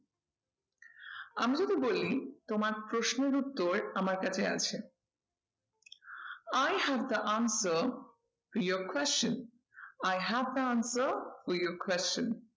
আমি যদি বলি তোমার প্রশ্নের উত্তর আমার কাছে আছে i have the answer to your question, i have the answer to your question